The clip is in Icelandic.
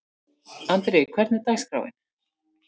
Andri, hvernig er dagskráin?